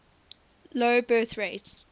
low birth rate